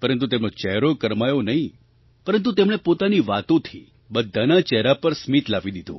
પરંતુ તેમનો ચહેરો કરમાયો નહીં પરંતુ તેમણે પોતાની વાતોથી બધાના ચહેરા પર સ્મિત લાવી દીધું